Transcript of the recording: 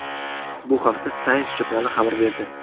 Bu haqda Science jurnali xabar berdi.